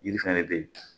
Yiri fɛn ne bɛ yen